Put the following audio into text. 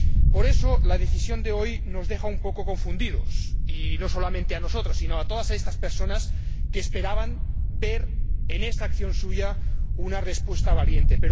Por eso, la decisión de hoy nos deja un poco confundidos y no solamente a nosotros sino a todas estas personas que esperaban ver en esta acción suya una respuesta valiente.